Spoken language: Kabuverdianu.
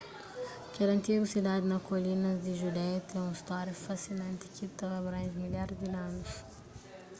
kel antigu sidadi na kolinas di judeia ten un stória fasinanti ki ta abranje milharis di anus